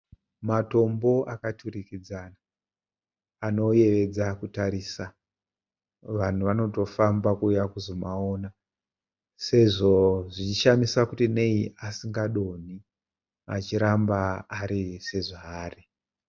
Matombo akadurikidzana anoyevedza kutarisa vanhu vanotofamba kuuya kuzomaona sezvo zvichishamisa kuti nei asingadonhi achiramba ari sezvaari